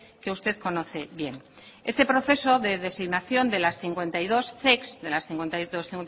que usted conoce bien este proceso de designación de las cincuenta y dos zec de las cincuenta y